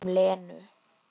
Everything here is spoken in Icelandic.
Um Lenu?